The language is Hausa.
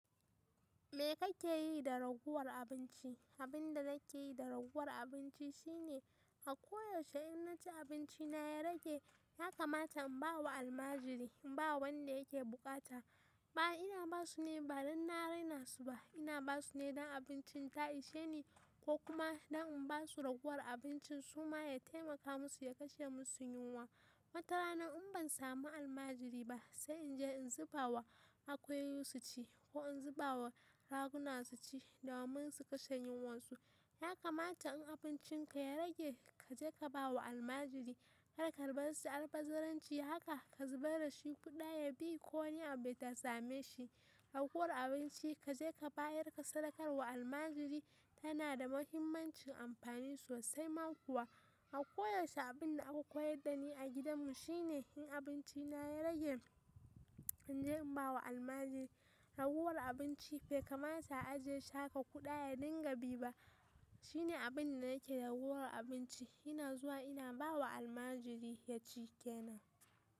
Me kake yi da ragowar abinci? Abin da nake yi da ragowar abinci shine a koyaushe in na ci abinci na ya rage, ya kamata in ba wa almajiri, in ba wanda yake bukata. Ba ina ba su ne ba don na rena su ba, ina ba su ne don abincin ta ishe ni ko kuma don in ba su ragowar abincin su ma ya taimaka musu ya kashe musu yunwa. Wata rana in ban samu almajiri ba, sai in je in zuba wa akuyoyi su ci ko in zuba wa raguna su ci domin su kashe yunwarsu. Ya kamata in abincin ka ya rage, ka je ka ba wa almajiri. Kar ka bar shi albazaranci haka, ka zubar da shi. Kuda ya bi ko ne abin da ya same shi. Ragowar abinci ka je ka bayar, ka sadakar wa almajiri tana da muhimmancin amfani sosai ma kuwa. A koyaushe abin da aka koyar da ni a gidanmu shine in abinci na ya rage, in je in ba wa almajiri. Ragowar abinci bai kamata a ajiye shi haka kuda dinga bi ba. Shine abin da nake da ragowar abinci ina zuwa ina ba wa almajiri ya ci ke nan.